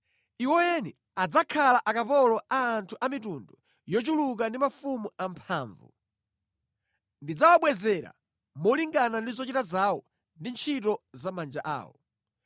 Iwo eni adzakhala akapolo a anthu a mitundu yochuluka ndi mafumu amphamvu. Ndidzawabwezera molingana ndi zochita zawo ndi ntchito za manja awo.”